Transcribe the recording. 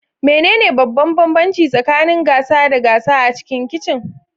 Menene babban bambanci tsakanin gasa da gasa a cikin kicin?